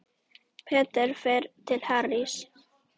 Peter fer til Harrys.